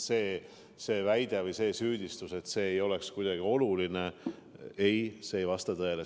See väide või süüdistus, et see ei ole meile oluline, ei vasta tõele.